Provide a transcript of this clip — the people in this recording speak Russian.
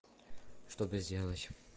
что-то сделать